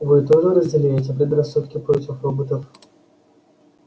вы тоже разделяете предрассудки против роботов